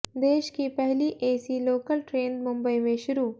देश की पहली एसी लोकल ट्रेन मुंबई में शुरू